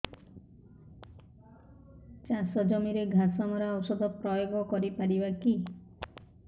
ଚାଷ ଜମିରେ ଘାସ ମରା ଔଷଧ ପ୍ରୟୋଗ କରି ପାରିବା କି